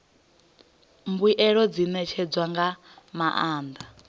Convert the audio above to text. mbuelo dzi ṋetshedzwa nga maanḓa